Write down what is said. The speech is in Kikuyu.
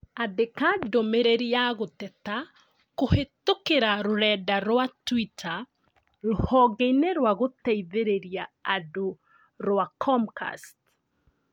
Andĩka ndũmĩrĩri ya gũteta kũhĩtũkĩra rũrenda rũa tũita rũhonge inĩ rũa gũteithĩrĩria andũ rũa Comcasts